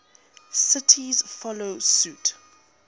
cities follow suit